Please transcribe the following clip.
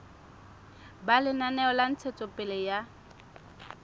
ba lenaneo la ntshetsopele ya